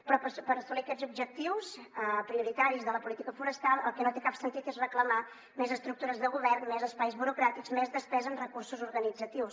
però per assolir aquests objectius prioritaris de la política forestal el que no té cap sentit és reclamar més estructures de govern més espais burocràtics més despesa en recursos organitzatius